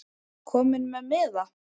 Kominn með miða?